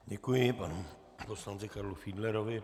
Děkuji panu poslanci Karlu Fiedlerovi.